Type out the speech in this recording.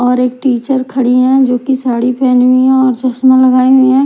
और एक टीचर खड़ी हैं जो की साड़ी पहनी हुई हैं और चश्मा लगाई हुईं हैं।